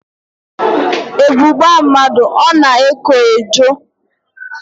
Ebu gbaa mmadụ, ọ na-eko ejo